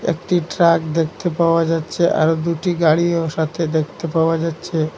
একটি ট্রাক দেখতে পাওয়া যাচ্ছে আরও দুটি গাড়িও সাথে দেখতে পাওয়া যাচ্ছে।